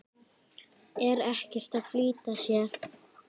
Er ekkert að flýta sér.